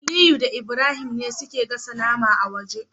Aliyu da Ibrahim ne suke gasa nama a waje